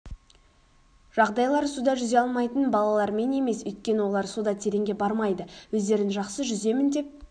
жағдайлар суда жүзе алмайтын балалармен емес өйткені олар суда тереңге бармайды өздерін жақсы жүземін деп